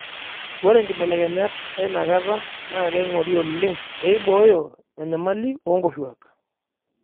Ore nkibelekenyat einakata naa keing'ori oleng peibooyo enyamali oo Nkoshuak.